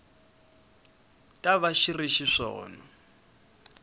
ta va xi ri xiswona